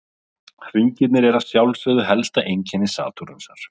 Hringirnir eru að sjálfsögðu helsta einkenni Satúrnusar.